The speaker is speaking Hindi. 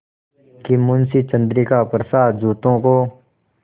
कि मुंशी चंद्रिका प्रसाद जूतों को